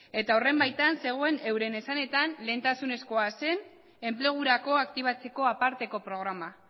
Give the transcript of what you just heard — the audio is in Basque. eta horren baitan zegoen euren esanetan lehentasunezkoa zen enplegurako aktibatzeko aparteko programa